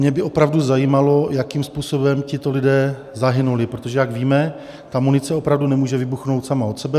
Mě by opravdu zajímalo, jakým způsobem tito lidé zahynuli, protože jak víme, ta munice opravdu nemůže vybuchnout sama od sebe.